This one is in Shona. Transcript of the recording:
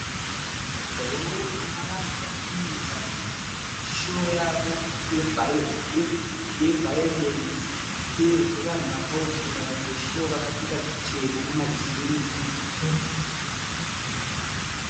Rori ina vanhu vari kuita showo yavo yevhayorenzi uyezve vanhu vakawokera vanhu veshowo vakapfeka zvichena namajini.